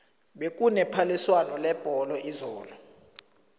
bekune phaliswano lebholo izolo